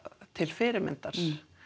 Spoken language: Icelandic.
til fyrirmyndar